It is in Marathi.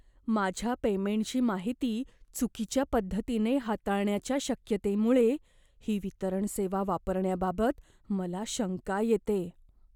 माझ्या पेमेंटची माहिती चुकीच्या पद्धतीने हाताळण्याच्या शक्यतेमुळे, ही वितरण सेवा वापरण्याबाबत मला शंका येते.